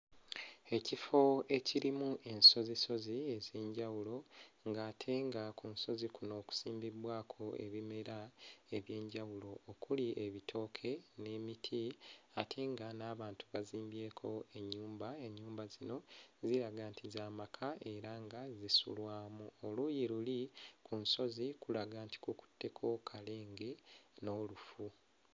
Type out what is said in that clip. Ekifo ekirimu ensozisozi ez'enjawulo ng'ate nga ku nsozi kuno kusimbibbwako ebimera eby'enjawulo okuli ebitooke n'emiti ate nga n'abantu bazimbyeko ennyumba, ennyumba zino ziraga nti za maka era nga zisulwamu. Oluuyi luli ku nsozi kulaga nti kukutteko kalenge n'olufu.